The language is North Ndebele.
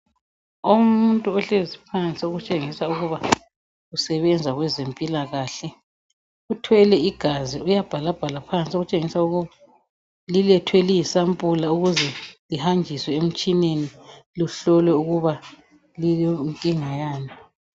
Umuntu ohlezi phansi okutshengisa ukuba usebenza kwezempilakahle. Uthwele igazi uyabhalabhala phansi okutshengisa ukuthi lilethwe liyisampula ukwenzela ukuthi lihanjiswe emtshineni lifunwe ukuba lilenkinga yani.